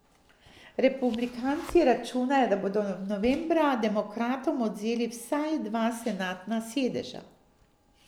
Republikanci računajo, da bodo novembra demokratom odvzeli vsaj dva senatna sedeža.